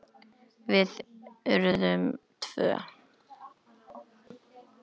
Við urðum tvö.